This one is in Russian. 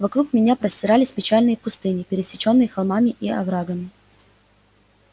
вокруг меня простирались печальные пустыни пересечённые холмами и оврагами